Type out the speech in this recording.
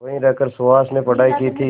वहीं रहकर सुहास ने पढ़ाई की थी